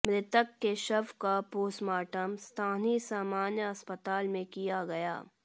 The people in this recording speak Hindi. मृतक के शव का पोस्टमार्टम स्थानीय सामान्य अस्पताल में किया गया